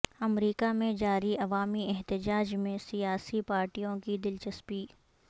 امریکہ میں جاری عوامی احتجاج میں سیاسی پارٹیوں کی دلچسپی